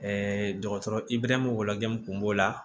dɔgɔtɔrɔ ibɛrɛnw wɔgɔjɛ min kun b'o la